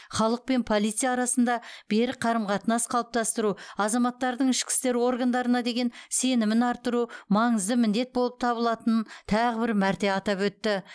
халық пен полиция арасында берік қарым қатынас қалыптастыру азаматтардың ішкі істер органдарына деген сенімін арттыру маңызды міндет болып табылатынын тағы бір мәрте атап өтті